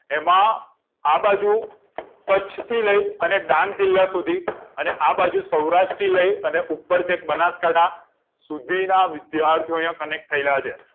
એમાં આ બાજુ કચ્છથી લઇ અને ડાંગ જીલ્લા સુધી અને આબાજુ સૌરાષ્ટ્ર લઇ ઉપર બનાસકાંઠા સુધીના વિદ્યાર્થીઓ અહી connect થયેલા છે